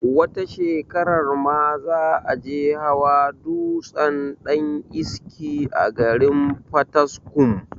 wata shekarar ma za a je hawa dutsen daniski a garin fataskum